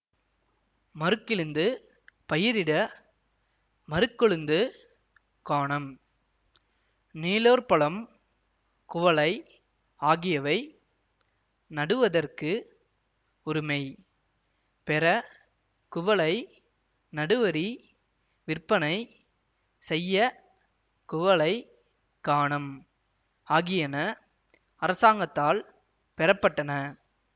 மருக்கிழுந்து பயிரிட மருக்கொழுந்துக் காணம் நீலோற்பலம் குவளை ஆகியவை நடுவதற்கு உரிமை பெற குவளை நடுவரி விற்பனை செய்ய குவளைக் காணம் ஆகியன அரசாங்கத்தால் பெறப்பட்டன